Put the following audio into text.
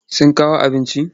Sun kawo abincin?